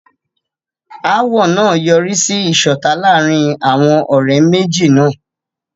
Ááwọ̀ náà yọrí sí ìṣọ̀tá láàárín àwọn ọ̀rẹ́ méjì náà.